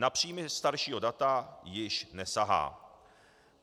Na příjmy staršího data již nesahá.